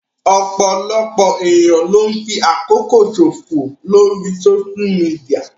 Ọ̀pọ̀lọpọ̀ ènìyàn ló ń fi àkókò ṣò fò lórii sóṣú midià